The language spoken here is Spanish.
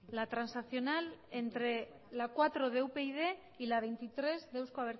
la transaccional entre la cuatro de upyd y la veintitrés de euzko